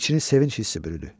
İçini sevinc hissi bürüdü.